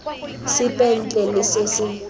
sepe ntle le se se